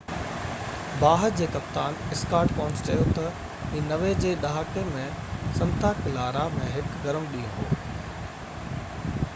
باهه جي ڪپتان سڪاٽ ڪونس چيو ته هي 90 جي ڏهاڪي ۾ سنتا ڪلارا ۾ هڪ گرم ڏينهن هو